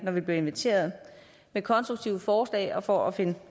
når vi bliver inviteret med konstruktive forslag og for at finde